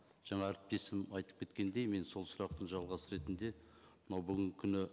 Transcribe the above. жаңа әріптесім айтып кеткендей мен сол сұрақтың жалғасы ретінде мына бүгінгі күні